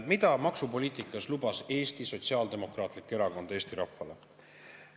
Mida lubas Eesti Sotsiaaldemokraatlik Erakond maksupoliitikas Eesti rahvale?